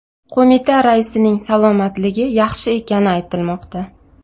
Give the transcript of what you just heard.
Qo‘mita raisining salomatligi yaxshi ekani aytilmoqda.